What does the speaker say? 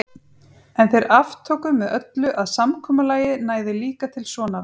En þeir aftóku með öllu að samkomulagið næði líka til sonar hans.